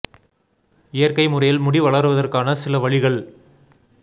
இயற்கை முறையில் முடி வளர்வதற்கான சில வழிகள்